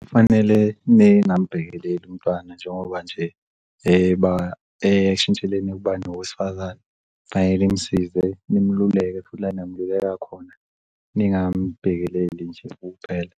Kufanele ningambhekeleli umntwana njengoba nje eshintsheleni ukuba ngowesifazane kufane nimusize nimluleke la eningamluleka khona, ningam'bhekeleli nje kuphela.